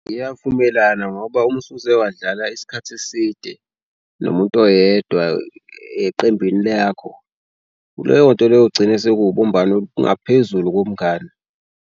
Ngiyavumelana ngoba uma usuze wadlala isikhathi eside nomuntu oyedwa eqembini lakho leyo nto leyo ugcine sekubumbano olungaphezulu komngani.